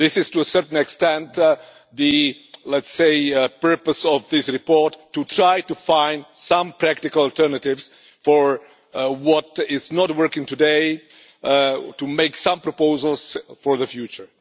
This is, to a certain extent, the purpose of this report, to try to find some practical alternatives for what is not working today and to make some proposals for the future.